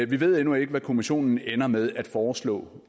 vi ved endnu ikke hvad kommissionen ender med at foreslå